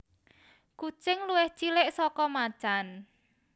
Kucing luwih cilik saka macan